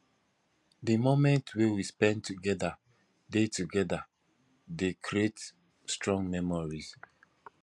di moments wey we spend together dey together dey create strong memories